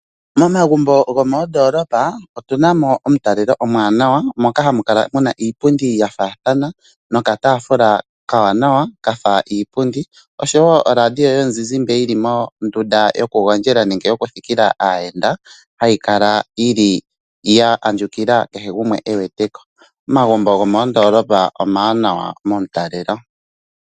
Momagumbo gomoondoolopa otu na mo omutalelo omuwanawa moka hamu kala mu na iipundi ya faathana nokataafula okawanawa ka fa iipundi noshowo oradio yomuzizimba yi li mondunda yokugondja nenge yokuthikila aayenda hayi kala yi li ya andjukila kehe gumwe e wete ko. Omagumbo gomoondoolopa omawanwa momutalelo.